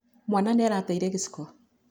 Mwaana nĩ arateire gĩciko.